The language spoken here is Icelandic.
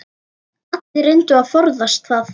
Allir reyndu að forðast það.